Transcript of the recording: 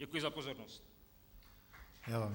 Děkuji za pozornost.